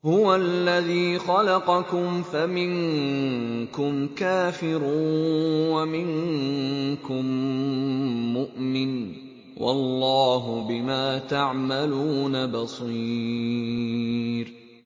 هُوَ الَّذِي خَلَقَكُمْ فَمِنكُمْ كَافِرٌ وَمِنكُم مُّؤْمِنٌ ۚ وَاللَّهُ بِمَا تَعْمَلُونَ بَصِيرٌ